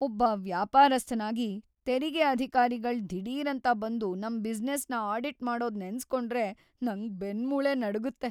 ಒಬ್ಬ ವ್ಯಾಪಾರಸ್ಥನಾಗಿ, ತೆರಿಗೆ ಅಧಿಕಾರಿಗಳ್‌ ದಿಢೀರಂತ ಬಂದು ನಮ್‌ ಬಿಸ್ನೆಸ್‌ನ ಆಡಿಟ್‌ ಮಾಡೋದ್ ನೆನ್ಸ್‌ಕೊಂಡ್ರೆ ನಂಗ್ ಬೆನ್ನ್‌ಮೂಳೆ ನಡುಗತ್ತೆ.